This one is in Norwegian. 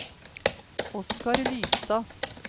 Oskar Lystad